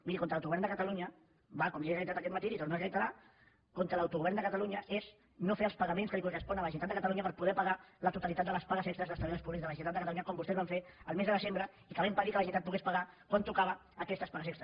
miri contra l’autogovern de catalunya va com li he reiterat aquest matí li ho torno a reiterar contra l’autogovern de catalunya és no fer els pagaments que li correspon a la generalitat de catalunya per poder pagar la totalitat de les pagues extres dels treballadors públics de la generalitat de catalunya com vostès van fer el mes de desembre i que va impedir que la generalitat pogués pagar quan tocava aquestes pagues extres